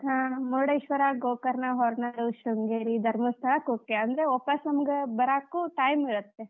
ಹಾ ಮುರುಡೇಶ್ವರಾ, ಗೋಕರ್ಣ, ಹೊರನಾಡು, ಶೃಂಗೇರಿ, ಧರ್ಮಸ್ಥಳ, ಕುಕ್ಕೆ ಅಂದ್ರ ವಾಪಸ್ ನಮಗ ಬರಾಕು time ಇರತ್ತೆ.